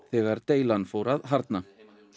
þegar deilan fór að harðna